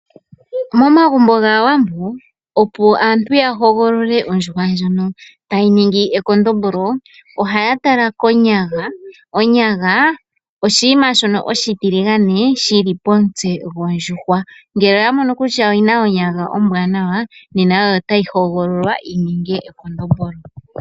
Momagumbo gAawambo opo aantu ya hogolole ondjuhwa ndjono tayi ningi ekondombolo ohaya tala konyaga. Onyaga oshinima oshitiligane shili pomutse gondjuhwa ngele oya mono kutya oyina onyaga ombwanawa nena oyo tayi hogololwa yi ninge ekondombolo.